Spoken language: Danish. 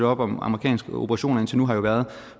op om amerikanske operationer indtil nu har jo været at